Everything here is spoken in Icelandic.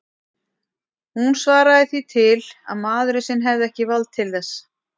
Hún svaraði því til að maðurinn sinn hefði ekki vald til þess.